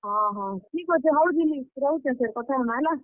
ହଁ ହଁ, ଠିକ୍ ଅଛେ, ହଉ ଜୁଲି ରହୁଛେଁ ସେ, କଥା ହେମା ହେଲା।